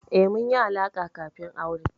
Eh, mun yi alaƙa kafin aure.